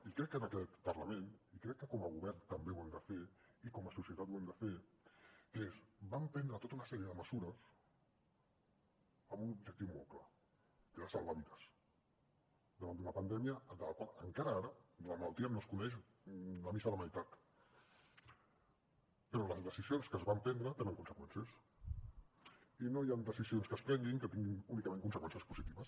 i crec que en aquest parlament i crec que com a govern també ho hem de fer i com a societat ho hem de fer que és vam prendre tota una sèrie de mesures amb un objectiu molt clar que era salvar vides davant d’una pandèmia de la qual encara ara de la malaltia no es coneix la missa la meitat però les decisions que es van prendre tenen conseqüències i no hi han decisions que es prenguin que tinguin únicament conseqüències positives